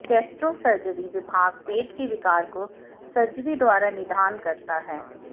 gastrosurgery विभाग पेट के विकार को सर्जरी द्वारा निदान करता है